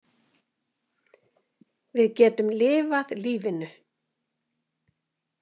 Við getum lifað lífinu.